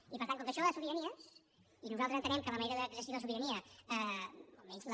i per tant com que això va de sobiranies i nosaltres entenem que la manera d’exercir la sobirania almenys la